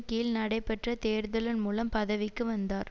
கீழ் நடைபெற்ற தேர்தலின் மூலம் பதவிக்கு வந்தார்